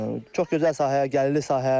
Çox gözəl sahədir, gəlirli sahə.